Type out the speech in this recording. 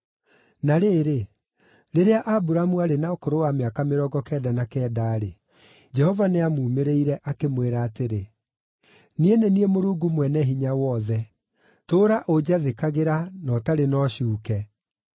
Na rĩrĩ, rĩrĩa Aburamu aarĩ na ũkũrũ wa mĩaka mĩrongo kenda na kenda-rĩ, Jehova nĩamuumĩrĩire, akĩmwĩra atĩrĩ, “Niĩ nĩ niĩ Mũrungu Mwene-Hinya-Wothe; tũũra ũnjathĩkagĩra, na ũtarĩ na ũcuuke.